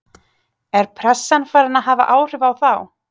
Er pressan farin að hafa áhrif á þá?